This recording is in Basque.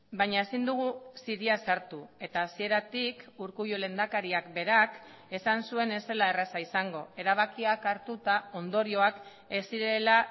baina ezin dugu ziria sartu eta hasieratik urkullu lehendakariak berak esan zuen ez zela erraza izango erabakiak hartuta ondorioak ez zirela